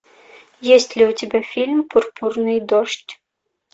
есть ли у тебя фильм пурпурный дождь